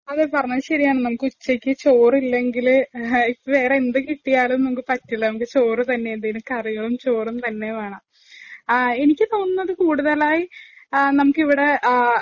അങ്ങ് പറഞ്ഞത് ശരിയാണ്. നമുക്ക് ചോറില്ലെങ്കില്വേറെന്തു കിട്ടിയാലും പറ്റില്ല. നമുക്ക് ചോറ് തന്നെ എന്തേലും കറികളും, ചോറും തന്നെ വേണം.എനിക്ക് തോന്നുന്നത് കൂടുതലായി നമ്മുക്ക് ഇവിടെ